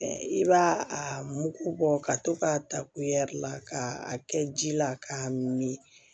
I b'a a mugu bɔ ka to k'a ta la ka a kɛ ji la k'a mi